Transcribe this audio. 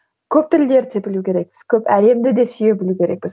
көп тілдерді де білу керекпіз көп әлемді де сүйе білу керекпіз